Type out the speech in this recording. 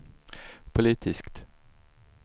politiskt